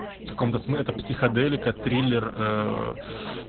в каком-то смы это психоделика триллер